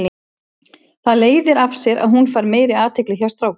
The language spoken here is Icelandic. Það leiðir af sér að hún fær meiri athygli hjá strákum.